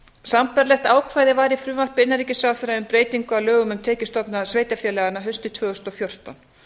sambærilegt ákvæði var í frumvarpi innanríkisráðherra um breytingu á lögum um tekjustofna sveitarfélaganna haustið tvö þúsund og fjórtán